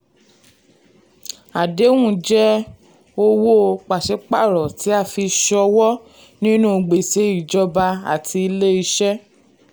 àdéhùn jẹ́ owó pàṣípààrọ̀ tí a fi ṣòwò nínú gbèsè ìjọba àti ilé iṣẹ́.